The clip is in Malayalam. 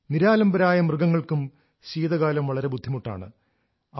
നിരാലംബരായ മൃഗങ്ങൾക്കും ശീതകാലം വളരെ ബുദ്ധിമുട്ടാണ്